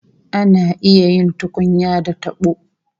Ana iya yin tukunya da tabo